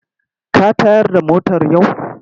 Ka tayar da motar yau?